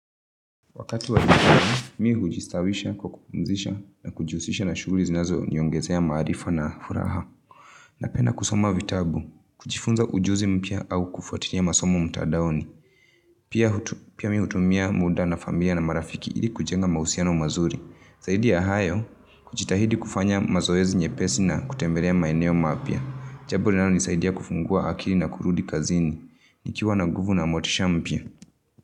Wakati wa mwikari, mi hujistawisha, kwa kupumzisha, na kujihusisha na shughuli zinazoniongezea maarifa na furaha. Napenda kusoma vitabu. Kujifunza ujuzi mpya au kufatilia masomo mtandaoni. Pia mi hutumia muda na familia na marafiki ili kujenga mahusiano mazuri. Zaidi ya hayo, kujitahidi kufanya mazoezi nyepesi na kutembelea maeneo mapya. Jambo linalo nisaidia kufungua akili na kurudi kazini. Nikiwa na nguvu na motisha mpya.